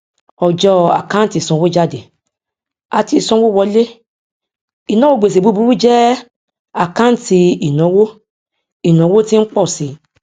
ọjọ àkáǹtì ìsanwójáde àti ìsanwówọlé ìnáwó gbèsè búburú jẹ àkáǹtì ìnáwó ìnáwó tí ń pọ si